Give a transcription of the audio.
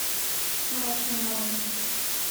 мрачные моменты